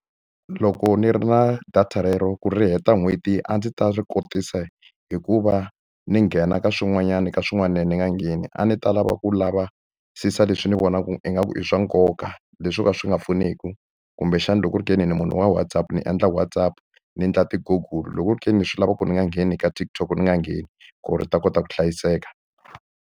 Loko ni ri na data relero ku ri heta n'hweti a ndzi ta ri kotisa hi ku va ni nghena ka swin'wanyani ka swin'wana ni nga ngheni. A ni ta lava ku lavisisa leswi ni vonaka ingaku i swa nkoka, leswi swo ka swi nga pfuneki kumbexana loko ku ri ke ni ni munhu wa WhatsApp, ni endla WhatsApp, ni endla ti-Google. Loko ku ri ke ni swi lava ku ni nga ngheni ka TikTok, ni nga ngheni ku ri yi ta kota ku hlayiseka.